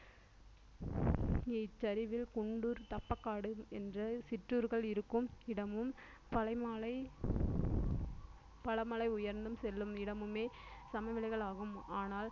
இச்சரிவில் குண்டூர் தப்பக்காடு என்ற சிற்றூர்கள் இருக்கும் இடமும் பழைமலை பழமலை உயர்ந்து செல்லும் இடமுமே சமவெளிகளாகும் ஆனால்